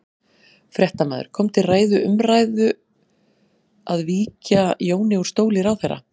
Fréttamaður: Kom til ræðu, umræðu að víkja Jóni úr stóli ráðherra?